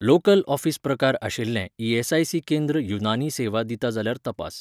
Local office प्रकार आशिल्लें ESIC केंद्र युनानी सेवा दिता जाल्यार तपास.